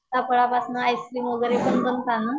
सीताफळापासन ice cream वगैरे पण बनता ना?